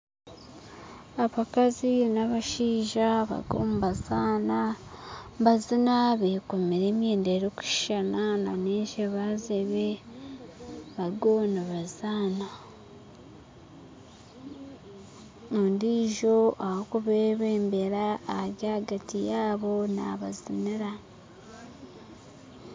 Abakazi n'abashaija bariyo nibazaana nibaziina bekomire emyenda erikushuushana nana ezebazeebe bariyo nibaziina ondiijo orikubebembera ari ahagati yaaba nabaziniira